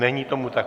Není tomu tak.